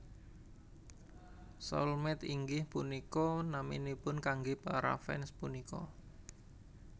Soulmate inggih punika naminipun kanggé para fans punika